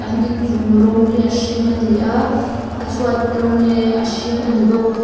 an inchung rawng hi a hring ani a a chhuat rawng hi a hring ani bawk.